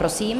Prosím.